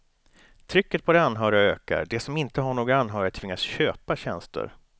Trycket på de anhöriga ökar, de som inte har någon anhörig tvingas köpa tjänster.